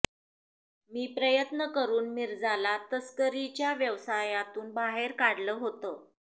मी प्रयत्न करून मिर्जा ला तस्करीच्या व्यवसायातून बाहेर काढलं होतं